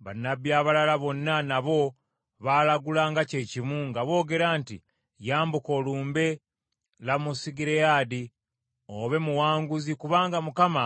Bannabbi abalala bonna nabo baalagula kye kimu, nga boogera nti, “Yambuka olumbe Lamosugireyaadi obe muwanguzi kubanga Mukama